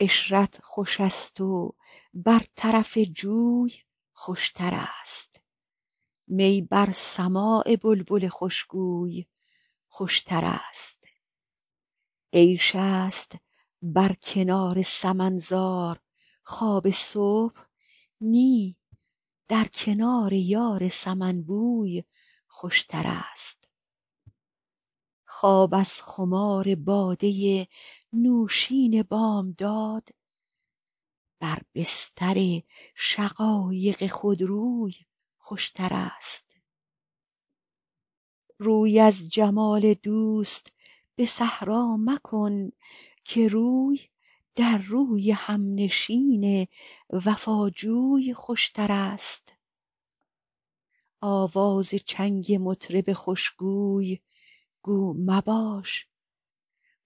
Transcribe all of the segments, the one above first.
عشرت خوش است و بر طرف جوی خوشترست می بر سماع بلبل خوشگوی خوشترست عیش است بر کنار سمن زار خواب صبح نی در کنار یار سمن بوی خوشترست خواب از خمار باده نوشین بامداد بر بستر شقایق خودروی خوشترست روی از جمال دوست به صحرا مکن که روی در روی همنشین وفاجوی خوشترست آواز چنگ مطرب خوشگوی گو مباش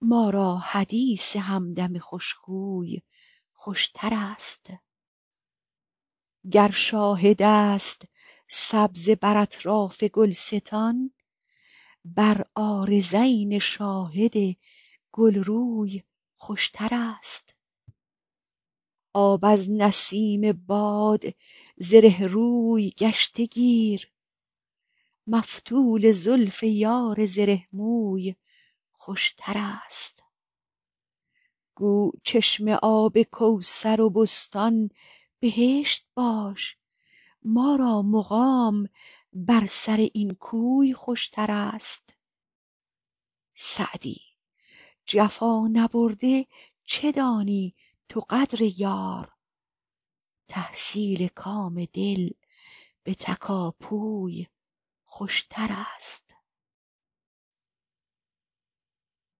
ما را حدیث همدم خوشخوی خوشترست گر شاهد است سبزه بر اطراف گلستان بر عارضین شاهد گلروی خوشترست آب از نسیم باد زره روی گشته گیر مفتول زلف یار زره موی خوشترست گو چشمه آب کوثر و بستان بهشت باش ما را مقام بر سر این کوی خوشترست سعدی جفا نبرده چه دانی تو قدر یار تحصیل کام دل به تکاپوی خوشترست